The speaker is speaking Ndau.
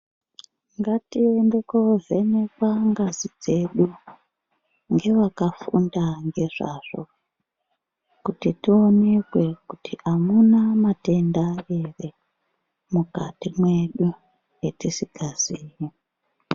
Ngatiende koovhenekwa ngazi dzedu, ngevakafunda ngezvazvo, kuti tionekwe kuti amuna matenda ere, mukati mwedu etisikazii.